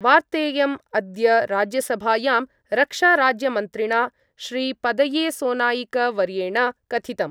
वार्तेयम् अद्य राज्यसभायां रक्षाराज्यमन्त्रिणा श्रीपदयेसोनाईकवर्येण कथितम्।